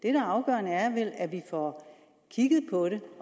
er afgørende er vel at vi får kigget på det